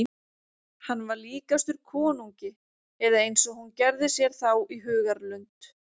Hann var líkastur konungi eða eins og hún gerði sér þá í hugarlund.